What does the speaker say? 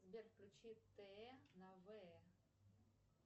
сбер включи тэ на вэ